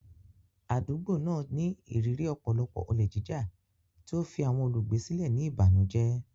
Àdúgbò náà ní ìrírí ọ̀pọ̀lọpọ̀ olè jíjà, tí ó fi àwọn olùgbé sílẹ̀ ní ìbànújẹ́.